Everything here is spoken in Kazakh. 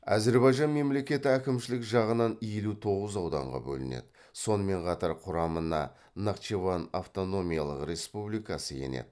әзірбайжан мемлекеті әкімшілік жағынан елу тоғыз ауданға бөлінеді сонымен қатар құрамына нахчыван автономиялық республикасы енеді